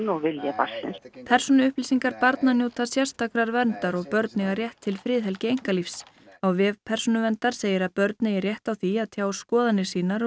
og vilja barnsins persónuupplýsingar barna njóta sérstakrar verndar og börn eiga rétt til friðhelgi einkalífs á vef Persónuverndar segir að börn eigi rétt á því að tjá skoðanir sínar